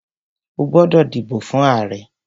O gbódò dìbò fún ààrẹ!